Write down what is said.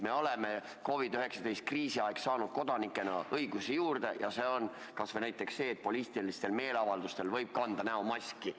Me oleme COVID-19 kriisi ajal saanud kodanikena õigusi juurde: näiteks poliitilistel meeleavaldustel võib kanda näomaski.